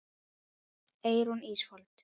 Eyrún Ísfold.